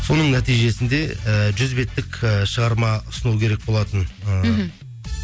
соның нәтижесінде ііі жүз беттік і шығарма ұсыну керек болатын ы мхм